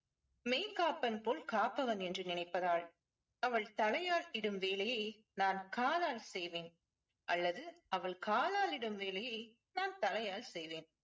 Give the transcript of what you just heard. மெய்காப்பன் போல் காப்பவன் என்று நினைப்பதால். அவள் தலையால் இடும் வேலையை நான் காலால் செய்வேன் அல்லது அவள் காலால் இடும் வேலையை நான் தலையால் செய்வேன்.